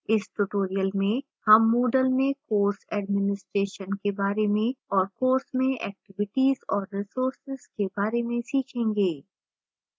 इस tutorial में हम moodle में course administration के बारे में और